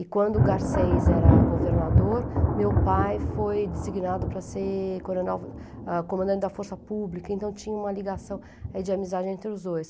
E quando o Garcês era governador, meu pai foi designado para ser comandante da Força Pública, então tinha uma ligação eh, de amizade entre os dois.